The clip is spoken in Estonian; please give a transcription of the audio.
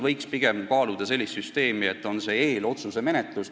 Võiks kaaluda pigem sellist süsteemi, et on eelotsuse menetlus.